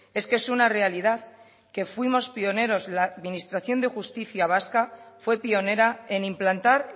es que es una realidad que fuimos pioneros la administración de justicia vasca fue pionera en implantar